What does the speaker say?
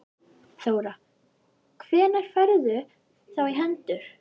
Þóra: Hvenær færðu þá í hendur?